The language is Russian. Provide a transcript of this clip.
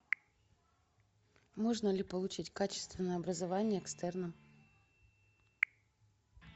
можно ли получить качественное образование экстерном